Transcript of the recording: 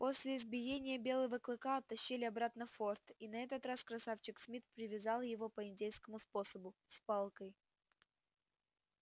после избиения белого клыка оттащили обратно в форт и на этот раз красавчик смит привязал его по индейскому способу с палкой